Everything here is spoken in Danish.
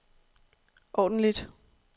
ordentligt